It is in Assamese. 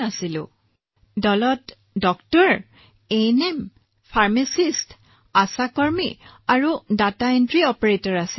আমাৰ সৈতে এজন চিকিৎসক হৈছে এএনএম আছে ফাৰ্মাচিষ্ট আছে আশা আছে আৰু ডাটা এণ্ট্ৰি অপাৰেটৰ আছে